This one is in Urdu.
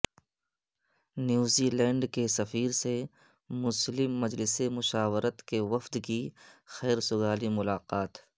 نیوزی لینڈ کی سفیر سے مسلم مجلس مشاورت کے وفد کی خیر سگالی ملاقات